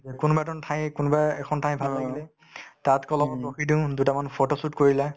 যে কোনোবা ঠাইক কোনোবা এখন ঠাই ভাল লাগিলে তাত অলপ ৰখি দিও দুটামান photo shoot কৰিলা